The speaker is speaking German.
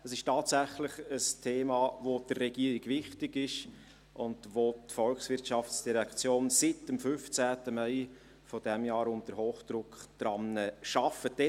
Es ist tatsächlich ein Thema, welches der Regierung wichtig ist und an welchem die VOL seit dem 15. Mai dieses Jahres mit Hochdruck arbeitet.